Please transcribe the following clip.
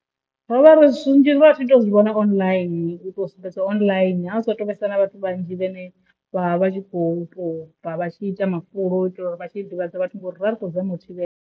Ro vha zwithu zwinzhi ra tshi to zwi vhona online u to sumbedziwa online ha u sa tu vhesa na vhathu vhanzhi vhane vha vha tshi khou to bva vha tshi ita mafulo u itela uri vha tshi ḓivhadza vhathu ngauri ri khou zama u thivhela.